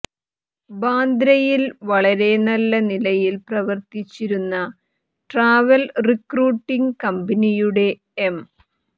ബാന്ദ്രയിൽ വളരെ നല്ല നിലയിൽ പ്രവർത്തിച്ചിരുന്ന ട്രാവൽ റിക്രൂട്ടിംഗ് കമ്പനിയുടെ എം